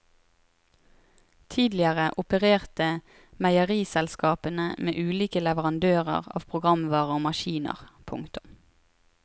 Tidligere opererte meieriselskapene med ulike leverandører av programvare og maskiner. punktum